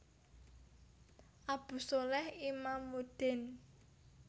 Abu sholeh Imamuddin